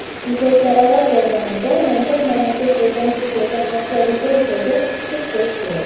muzokaralar jarayonida nomzod mamlakat bo‘lgan Turkiyaga qarshi ritorikaga chek qo‘yish kerak.